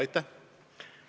Aitäh!